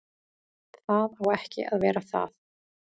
Það á ekki að vera það.